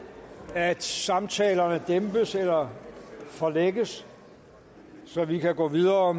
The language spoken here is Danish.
at samtalerne dæmpes eller forlægges så vi kan gå videre